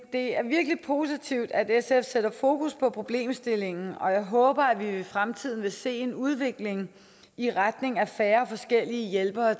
er virkelig positivt at sf sætter fokus på problemstillingen og jeg håber at vi i fremtiden vil se en udvikling i retning af færre forskellige hjælpere